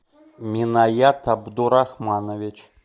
минаят абдурахманович